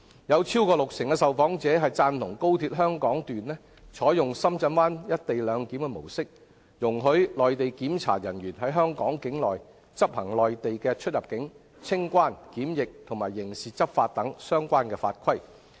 有超過六成受訪者贊同高鐵香港段採用深圳灣"一地兩檢"的模式，容許內地檢查人員在香港境內執行內地的出入境、清關、檢疫及刑事執法等相關法規。